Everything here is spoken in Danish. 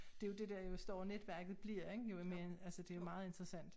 Det jo det der jo større netværket bliver ikke jo mere altså dte jo meget interessant